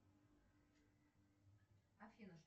афина